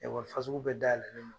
Wa fasugu bɛɛ dayɛlɛlen non.